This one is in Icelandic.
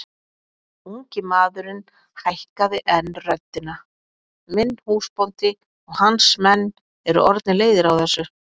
Ungi maðurinn hækkaði enn röddina:-Minn húsbóndi og hans menn eru orðnir leiðir á þessu!